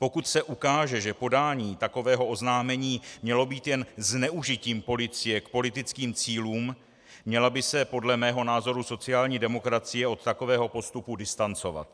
Pokud se ukáže, že podání takového oznámení mělo být jen zneužitím policie k politickým cílům, měla by se podle mého názoru sociální demokracie od takového postupu distancovat.